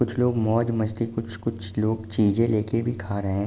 कुछ लोग मोज मस्ती कुछ कुछ लोग चीजें ले के भी खा रहे हैं।